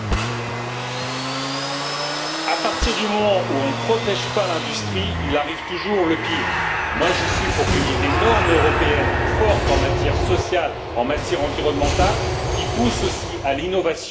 À partir du moment où l'on ne protège pas l'industrie, il arrive toujours le pire. Moi, je suis pour qu'il y ait des normes européennes fortes en matière sociale, en matière environnementale, qui poussent aussi à l'innovation et empêchent la délocalisation.